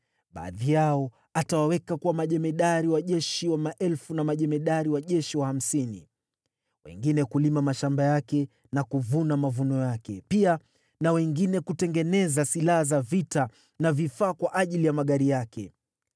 Baadhi yao atawaweka kuwa majemadari wa jeshi wa maelfu na majemadari wa jeshi wa hamsini, wengine kulima mashamba yake na kuvuna mavuno yake, pia na wengine kutengeneza silaha za vita na vifaa kwa ajili ya magari yake.